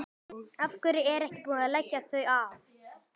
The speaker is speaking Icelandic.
Af hverju er ekki búið að leggja þau af?